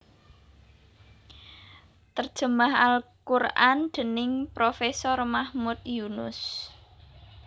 Terjemah al Quran dening Profesor Mahmud Yunus